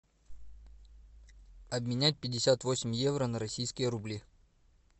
обменять пятьдесят восемь евро на российские рубли